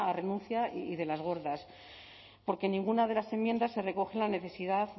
renuncia y de las gordas porque en ninguna de las enmiendas se recoge la necesidad